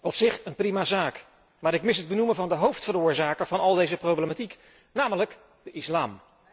Op zich een prima zaak, maar ik mis het benoemen van de hoofdveroorzaker van al deze problematiek, namelijk de islam.